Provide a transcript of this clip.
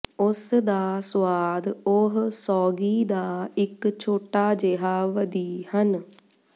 ਉਸ ਦਾ ਸੁਆਦ ਉਹ ਸੌਗੀ ਦਾ ਇੱਕ ਛੋਟਾ ਜਿਹਾ ਵਧੀ ਹਨ